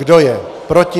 Kdo je proti?